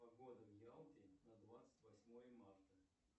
погода в ялте на двадцать восьмое марта